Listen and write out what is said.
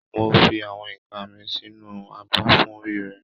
Mo fi àwọn ìka mi sínú abọ́ fún rírẹ